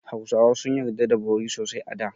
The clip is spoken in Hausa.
Hausawa sun yarda da bori sosai a da.